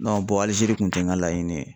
Alizeri kun tɛ n ka laɲini ye.